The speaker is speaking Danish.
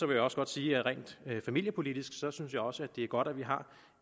jeg også godt sige at rent familiepolitisk synes jeg også det er godt at vi har